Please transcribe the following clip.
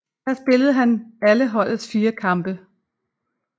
Her spillede han alle holdets fire kampe